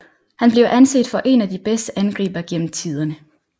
Han bliver anset for én af de bedste angribere gennem tiderne